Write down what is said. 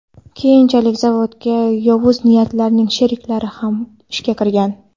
Keyinchalik zavodga yovuz niyatlilarning sheriklari ham ishga kirgan.